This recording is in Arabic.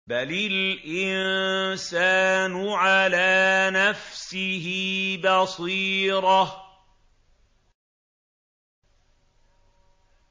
بَلِ الْإِنسَانُ عَلَىٰ نَفْسِهِ بَصِيرَةٌ